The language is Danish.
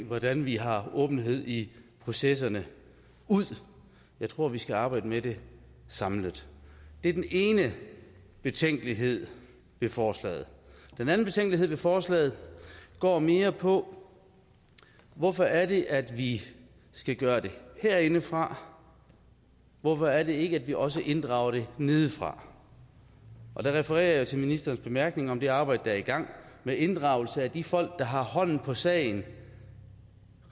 hvordan vi har åbenhed i processen ud jeg tror at vi skal arbejde med det samlet det er den ene betænkelighed ved forslaget den anden betænkelighed ved forslaget går mere på hvorfor er det at vi skal gøre det herindefra hvorfor er det at vi ikke også inddrager det nedefra der refererer jeg til ministerens bemærkninger om det arbejde der er i gang med inddragelse af de folk der har hånden på sagen